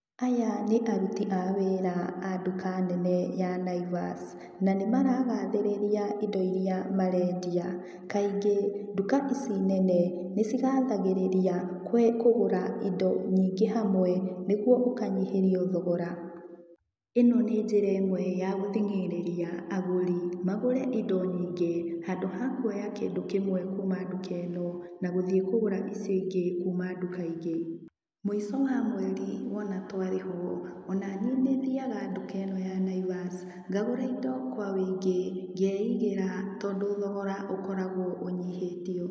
Aya nĩ aruti a wĩra a nduka nene ya Naivas, na nĩ maragathĩrĩria indo iria marendia. Kaingĩ nduka ici nene nĩciathagĩrĩria kũgũra indo nyingĩ hamwe nĩguo ũkanyihĩrio thogora. Ino nĩ njĩra ĩmwe ya gũthing'ĩrĩria agũri magũre indo nyingĩ, handũ ha kũoya kĩndũ kĩmwe kuuma nduka ĩno na gũthiĩ kũgũra icio ingĩ kuuma nduka ingĩ. Mũico wa mweri, wona twarĩhwo, ona niĩ nĩ thiaga nduka ĩno ya Naivas, ngagũra indo kwa wũingĩ, ngeigĩra, tondũ thogora ũkoragwo ũnyihĩtio.